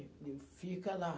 Eu digo, fica lá.